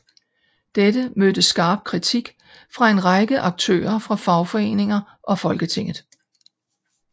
Dette mødte skarp kritik fra en række aktører fra fagforeninger og Folketinget